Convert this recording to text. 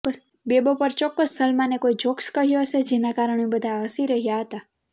બેબો પર ચોક્કસ સલમાને કોઇ જોક્સ કહ્યો હશે જેના કારણે બધાં હસી રહ્યા હતાં